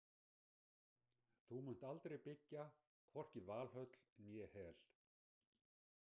Þú munt aldrei byggja hvorki Valhöll né Hel.